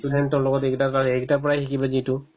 সি student ৰ লগত এইকেইটাৰ কাৰণে সেইকেইটাৰ পৰা শিকিল নেকি এইটো